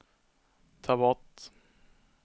ta bort